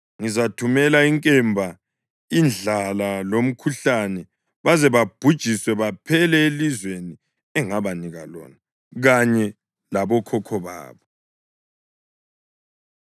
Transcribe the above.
Ngizathumela inkemba, indlala lomkhuhlane baze babhujiswe baphele elizweni engabanika lona kanye labokhokho babo.’ ”